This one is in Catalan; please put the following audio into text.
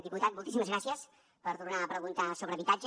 diputat moltíssimes gràcies per tornar a preguntar sobre habitatge